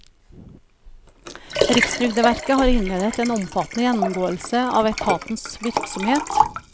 Rikstrygdeverket har innledet en omfattende gjennomgåelse av etatens virksomhet.